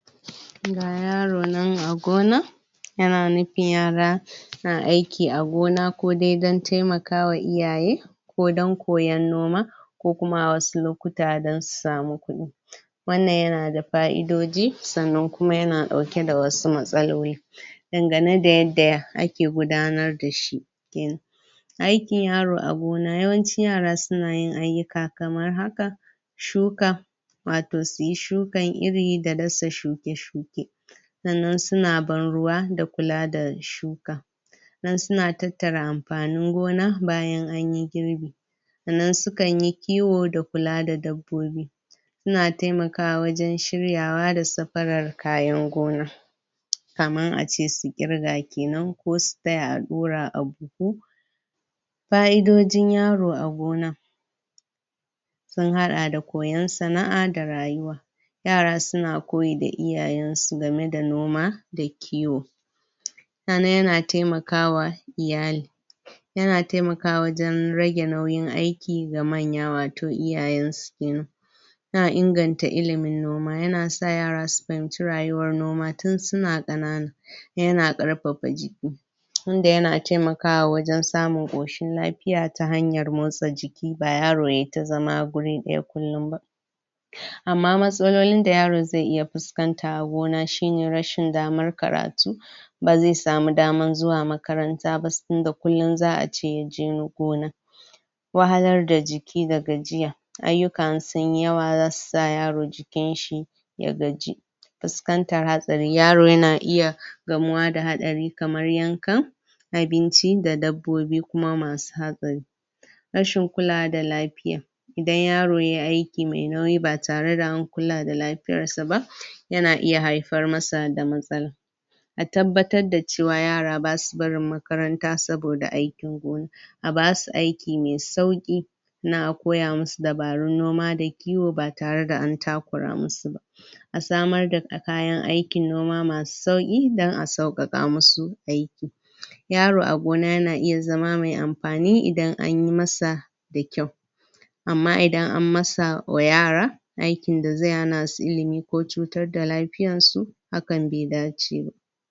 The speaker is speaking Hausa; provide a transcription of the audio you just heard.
Ga yaro nan a gona. Yana nufin yara na aiki a gona, ko dai dan taimakawa iyaye, ko dan koyon noma, ko kuma wasu lokuta don su samu kuɗi. Wannan yana da fa'idoji, sannan kuma yana ɗauke da wasu matsaloli, dangane da yadda ake gudanar da shi kenan. Aikin yaro a gona, yawanci yara suna yin ayyuka kamar haka: Shuka, wato su yi shukan iri da dasa shuke-shuke, sannan suna ban ruwa da kula da shuka, sannan suna tattara amfanin gona bayan an yi girbi, sannan su kan yi kiwo da kula da dabbobi, suna taimakawa wajen shiryawa da safarar kayan gona, kamar a ce su irga kenan, ko su taya a ɗura a buhu. Fa'idojin yaro a gona, sun haɗa koyon sana'a da rayuwa, yara suna koyi da iyayen su game da noma da kiwo. Sannan yana taimakawa iyali. Yana taimakawa wajen rage nauyin aiki ga manya, wato iyayen su kenan. Yana inganta ilimin noma, yana sa yara su fahimci rayuwar noma tun suna ƙanana. Yana ƙarfafa jiki, tun da yana taimakawa wajen samun ƙoshin lafiya ta hanyar motsa jiki, ba yaro yayi ta zama gurin ɗaya kullum ba. Amma matsalolin da yaro zai iya fuskanta a gona shine, rashin damar karatu, ba zai samu damar zuwa makaranta ba, saboda kullum za'a ce yaje gona, wahalar da jiki da gajiya, ayyuka in sun yi yawa za su sa yaro jikin shi ya gaji, fuskantar hatsari, yaro yana iya gamuwa da haɗari kamar yankan abinci da dabbobi kuma masu hatsari. Rashin kulawa da lafiya, idan yaro yayi aiki mai nauyi ba tare da an kula da lafiyar sa ba, yana iya haifar masa da matsala. A tabbatar da cewa yara ba sa barin makaranta saboda aikin gona. A ba su aiki mai sauƙi, na a koya musu dabarun noma da kiwo ba tare da an takura musu ba. A samar da kayan aikin noma masu sauƙi don a sauƙaƙa musu aiki. Yaro a gona yana iya zama mai amfani idan an yi masa da kyau. Amma idan an masa oyara aikin da zai hana su ilimi ko cutar da lafiyar su, hakan bai dace ba.